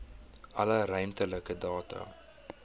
alle ruimtelike data